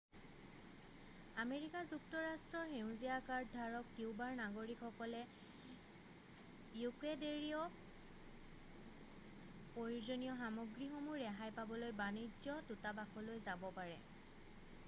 America যুক্তৰাষ্ট্ৰৰ সেউজীয়া card ধাৰক কিউবাৰ নাগৰিকসকলে ইকুৱেডেৰীয় প্ৰয়োজনীয় সামগ্ৰীসমূহ ৰেহাই পাবলৈ বাণিজ্য দূতাবাসলৈ যাব পাৰে